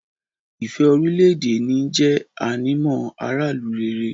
ìfẹ́ orílẹ̀-èdè ẹni jẹ́ ànímọ́ aráàlú rere.